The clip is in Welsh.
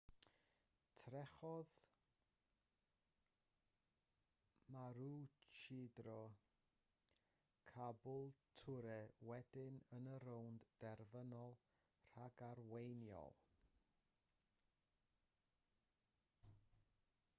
trechodd maroochydore caboolture wedyn yn y rownd derfynol ragarweiniol